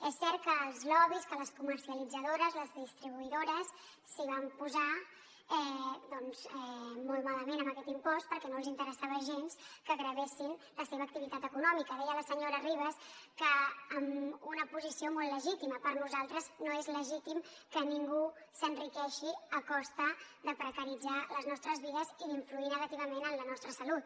és cert que els lobbys que les comercialitzadores les distribuïdores s’hi van posar molt malament amb aquest impost perquè no els interessava gens que gravessin la seva activitat econòmica deia la senyora ribas que amb una posició molt legítima per nosaltres no és legítim que ningú s’enriqueixi a costa de precaritzar les nostres vides i d’influir negativament en la nostra salut